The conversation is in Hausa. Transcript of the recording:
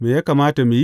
Me ya kamata mu yi?